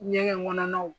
Ɲɛgɛn kɔnɔnaw